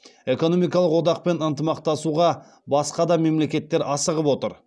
экономикалық одақпен ынтымақтасуға басқа да мемлекеттер асығып отыр